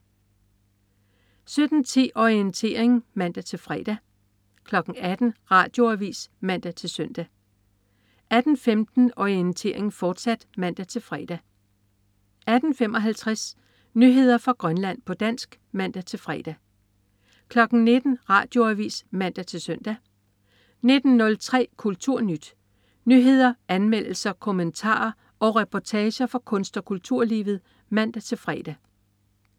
17.10 Orientering (man-fre) 18.00 Radioavis (man-søn) 18.15 Orientering, fortsat (man-fre) 18.55 Nyheder fra Grønland, på dansk (man-fre) 19.00 Radioavis (man-søn) 19.03 KulturNyt. Nyheder, anmeldelser, kommentarer og reportager fra kunst- og kulturlivet (man-fre)